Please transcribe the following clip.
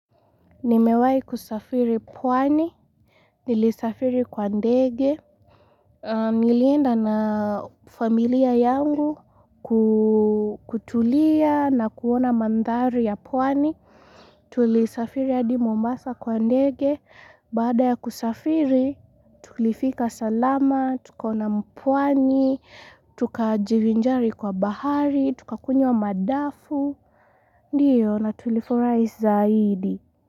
Nimewahi kusafiri pwani, nilisafiri kwa ndege, nilienda na familia yangu kutulia na kuona mandhari ya pwani, tulisafiri hadi Mombasa kwa ndege, baada ya kusafiri tulifika salama, tukaona mpwani, tukajivinjari kwa bahari, tukakunywa madafu, ndiyo na tulifurahi zaidi.